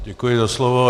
Děkuji za slovo.